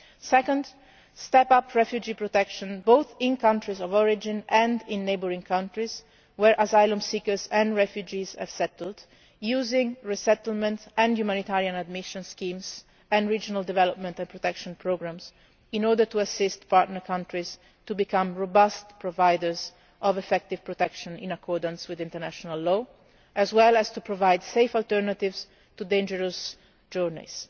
distress. Secondly, step up refugee protection both in countries of origin and in neighbouring countries where asylum seekers and refugees have settled, using resettlement and humanitarian admission schemes and regional development and protection programmes in order to assist partner countries to become robust providers of effective protection in accordance with international law, as well as to provide safe alternatives to dangerous